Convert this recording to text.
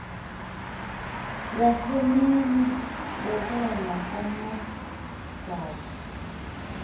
yasemini sabon amagaty